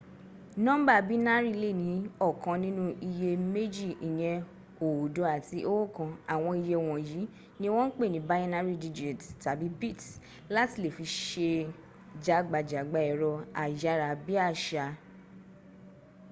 nọ́ḿbà bínárì lè ní ọ̀kan nínú iye méjì ìyẹn oódo àti oókan àwọn iye wọ̀nyìí ni wọ́n ń pè ní binary digits - tàbí bits láti le fi se jágbajàgba ẹ̀rọ ayárabíàṣá